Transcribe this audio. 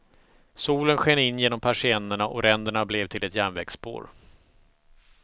Solen sken in genom persiennerna och ränderna blev till ett järnvägsspår.